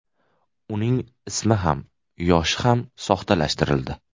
Uning ismi ham, yoshi ham soxtalashtirildi .